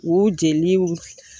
U jeliw